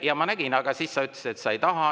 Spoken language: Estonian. Jaa, ma nägin seda, aga siis sa ütlesid, et sa ei taha.